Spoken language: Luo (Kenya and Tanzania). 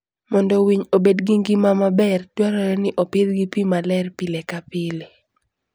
Mondo winy obed gi ngima maber, dwarore ni opidhgi pi maler pile ka pile.